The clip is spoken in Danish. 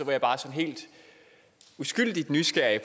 jeg bare sådan helt uskyldigt nysgerrig